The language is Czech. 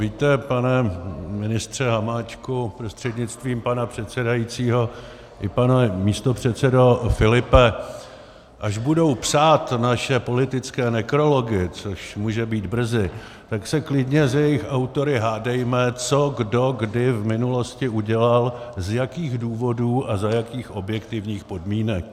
Víte, pane ministře Hamáčku prostřednictvím pana předsedajícího, i pane místopředsedo Filipe, až budou psát naše politické nekrology, což může být brzy, tak se klidně s jejich autory hádejme, co kdo kdy v minulosti udělal, z jakých důvodů a za jakých objektivních podmínek.